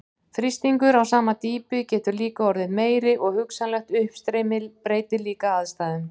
Þrýstingur á sama dýpi getur líka orðið meiri og hugsanlegt uppstreymi breytir líka aðstæðum.